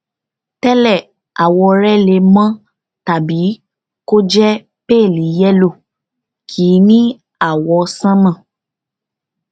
má ṣe ìyọnu wà á wà dáadáa pẹlú gbogbo dáadáa pẹlú gbogbo àwọn wọnyí ní ọjọ márùnún